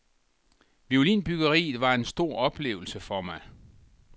Violinbyggeriet var en stor oplevelse for mig.